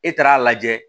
E taara a lajɛ